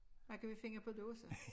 Hvad kan vi finde på dåse?